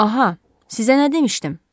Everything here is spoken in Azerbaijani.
Aha, sizə nə demişdim?